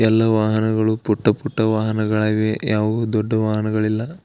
ಎಲ್ಲ ವಾಹನಗಳು ಪುಟ್ಟ ಪುಟ್ಟ ವಾಹನಗಳಿವೆ ಯಾವು ದೊಡ ವಾಹನ ಗಲಿಲ.